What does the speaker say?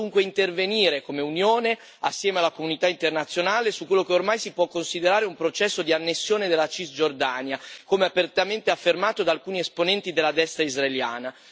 Dobbiamo dunque intervenire come Unione, assieme alla comunità internazionale, su quello che ormai si può considerare un processo di annessione della Cisgiordania, come apertamente affermato da alcuni esponenti della destra israeliana.